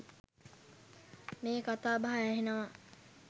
මේ කතා බහ ඇහෙනවා.